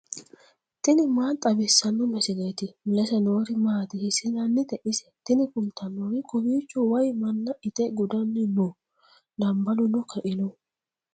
tini maa xawissanno misileeti ? mulese noori maati ? hiissinannite ise ? tini kultannori kowiicho wayi manna ite gudanni no dambaluno kaino